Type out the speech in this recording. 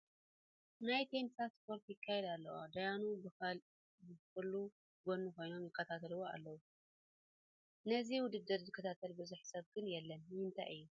ናይ ቴንስ ስፖርቲ ይካየድ ኣሎ፡፡ ዳያኑ ብኽልኢኡ ጐኒ ኮይኖም ይከተታተልዎ ኣለዉ፡፡ ነዚ ውድድር ዝከታተል ብዙሕ ሰብ ግን የለን፡፡ ንምንታይ እዩ?